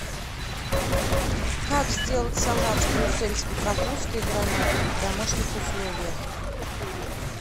как сделать салат с брюссельской капустой и гранатом в домашних условиях